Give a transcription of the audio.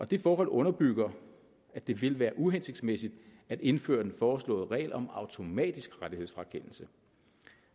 det forhold underbygger at det vil være uhensigtsmæssigt at indføre den foreslåede regel om automatisk rettighedsfrakendelse